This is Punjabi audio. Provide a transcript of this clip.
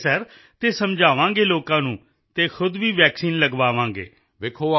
ਦੱਸਾਂਗੇ ਸਰ ਅਤੇ ਸਮਝਾਵਾਂਗੇ ਲੋਕਾਂ ਨੂੰ ਅਤੇ ਖੁਦ ਵੀ ਵੈਕਸੀਨ ਲਗਵਾਵਾਂਗੇ